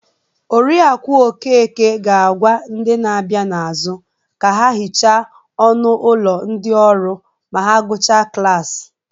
Oriakụ Okeke ga-agwa ndị na-abịa n'azụ ka ha hichaa ọnụ ụlọ ndị ọrụ ma ha gụchaa klas